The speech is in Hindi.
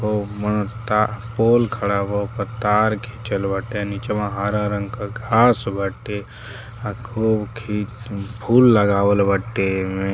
हो मा का पोल खड़ा बा ओपर तार खींचल बाटे नीचवा हरा रंग क घाँस बाटे आ खूब खी न् फूल लगवाल बाटे एमे।